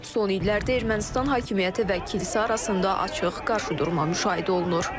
Son illərdə Ermənistan hakimiyyəti və kilsə arasında açıq qarşıdurma müşahidə olunur.